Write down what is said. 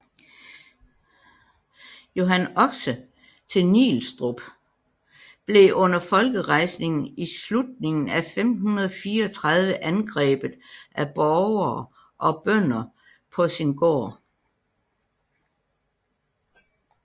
Johan Oxe til Nielstrup blev under folkerejsningen i slutningen af 1534 angrebet af borgere og bønder på sin gård